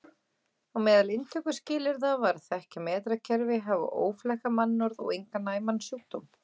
Á meðal inntökuskilyrða var að þekkja metrakerfi, hafa óflekkað mannorð og engan næman sjúkdóm.